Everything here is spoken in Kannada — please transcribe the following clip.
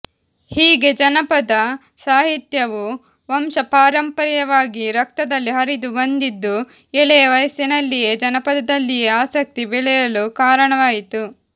ಹೀಗೆ ಜನಪದ ಸಾಹಿತ್ಯವು ವಂಶ ಪಾರಂಪರ್ಯವಾಗಿ ರಕ್ತದಲ್ಲಿ ಹರಿದು ಬಂದಿದ್ದು ಎಳೆಯ ವಯಸ್ಸಿನಲ್ಲಿಯೇ ಜಾನಪದದಲ್ಲಿಯೇ ಆಸಕ್ತಿ ಬೆಳೆಯಲು ಕಾರಣವಾಯಿತು